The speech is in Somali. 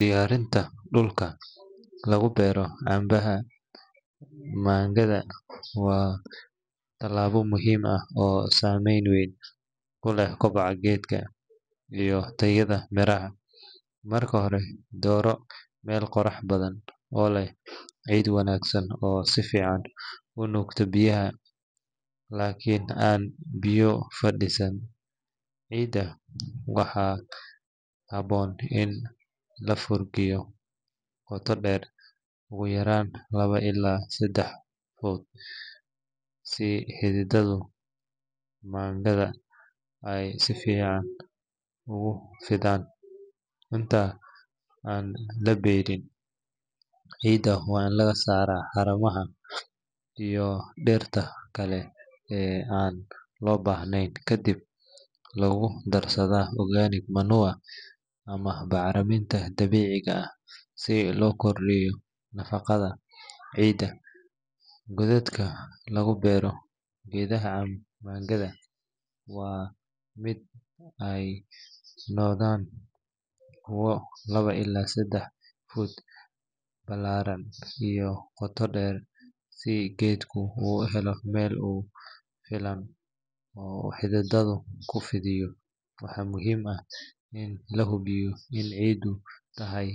Diyaarinta dhulka lagu beero canabka mangada waa tallaabo muhiim ah oo saameyn weyn ku leh koboca geedka iyo tayada miraha. Marka hore, dooro meel qorrax badan oo leh ciid wanaagsan oo si fiican u nuugta biyaha laakiin aan biyo fadhiisan. Ciidda waxaa habboon in la furgufiyo qoto dheer ugu yaraan laba ilaa saddex fuudh si xididdada mangada ay si fiican ugu fidaan. Inta aan la beerin, ciidda waa in laga saaraa haramaha iyo dhirta kale ee aan loo baahnayn kadibna lagu darsadaa organic manure ama bacriminta dabiiciga ah si loo kordhiyo nafaqada ciidda. Godadka lagu beero geedaha mangada waa in ay noqdaan kuwo laba ilaa saddex fuudh ballaaran iyo qoto dheer si geedku u helo meel ku filan oo uu xididdada ku fidiyo. Waxaa muhiim ah in la hubiyo in ciiddu tahay.